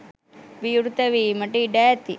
විවෘත වීමට ඉඩ ඇති